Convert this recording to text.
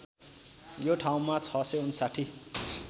यो ठाउँमा ६५९